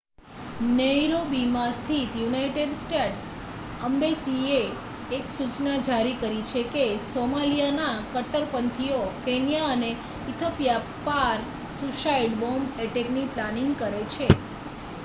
"નૈરોબીમાં સ્થિત United States એમ્બસીએ એક સૂચના જારી કરી છે કે "સોમાલિયા ના કટ્ટરપંથીઓ" કેન્યા અને ઇથોપિયા પાર સુઈસાઈડ બૉમ્બ અટેકની પ્લેનિંગ કરે છે.